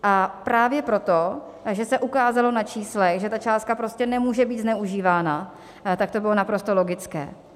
A právě proto, že se ukázalo na číslech, že ta částka prostě nemůže být zneužívána, tak to bylo naprosto logické.